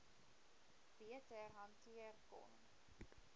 beter hanteer kon